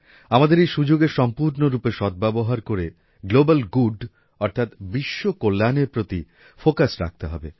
আমাদের এই সুযোগের সম্পূর্ণ রূপে সদ্ব্যবহার করে গ্লোবাল গুড অর্থাৎ বিশ্ব কল্যাণের প্রতি ফোকাস রাখতে হবে